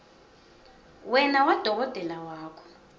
wena nadokotela wakho